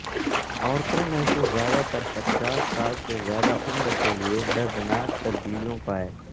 عورتوں میں سے زیادہ تر پچاس سال سے زیادہ عمر کے لیے دردناک تبدیلیوں پائے